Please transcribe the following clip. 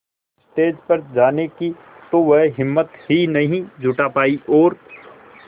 stage पर जाने की तो वह हिम्मत ही नहीं जुटा पाई और